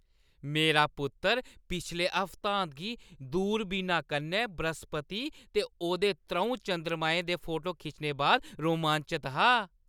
मेरा पुत्तर पिछले हफ्तांत गी दूरबीना कन्नै बृहस्पति ते ओह्दे त्र'ऊं चंद्रमें दे फोटो खिच्चने बाद रोमांचत हा।